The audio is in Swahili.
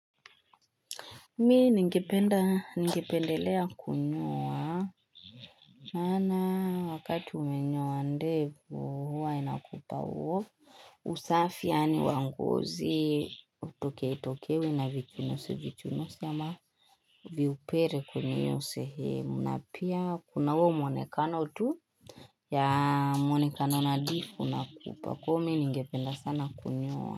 Mimi ningependa, ningependelea kunyoa. Maana wakati umenyoa ndevu huwa inakupa huo. Usafi yaani wa ngozi hutokewi tokewi na vichunuzi chunuzi ama viupele kwenye hio sehemu. Na pia kuna huo mwonekano tu ya mwonekano nadhifu na kupa kwa hio mimi ningependa sana kunyoa.